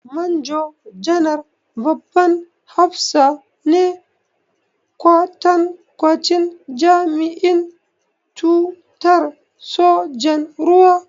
Manjo-janar babban hafsa ne, kwatankwacin jami'in tutar sojan ruwa.